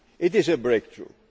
It is a breakthrough.